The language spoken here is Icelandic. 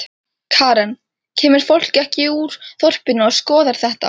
Karen: Kemur fólk ekki úr þorpinu og skoðar þetta?